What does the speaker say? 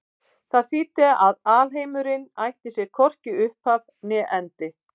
Það þýddi að alheimurinn ætti sér hvorki upphaf né endi.